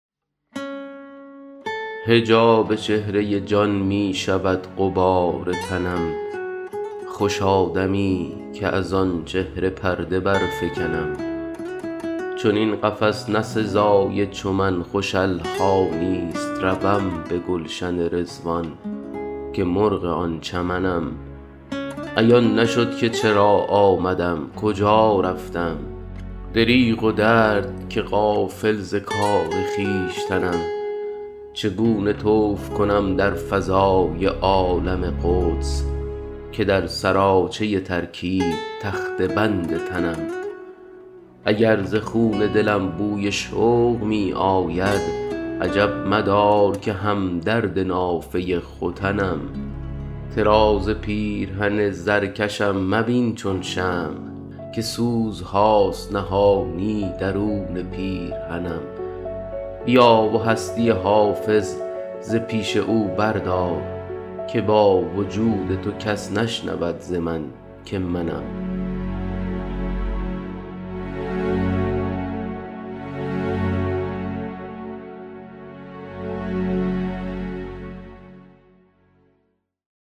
حجاب چهره جان می شود غبار تنم خوشا دمی که از آن چهره پرده برفکنم چنین قفس نه سزای چو من خوش الحانی ست روم به گلشن رضوان که مرغ آن چمنم عیان نشد که چرا آمدم کجا رفتم دریغ و درد که غافل ز کار خویشتنم چگونه طوف کنم در فضای عالم قدس که در سراچه ترکیب تخته بند تنم اگر ز خون دلم بوی شوق می آید عجب مدار که هم درد نافه ختنم طراز پیرهن زرکشم مبین چون شمع که سوزهاست نهانی درون پیرهنم بیا و هستی حافظ ز پیش او بردار که با وجود تو کس نشنود ز من که منم